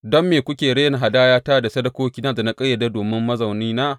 Don me kuke rena hadayata da sadakokina da na ƙayyade domin mazaunina?